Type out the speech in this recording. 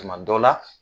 Tuma dɔ la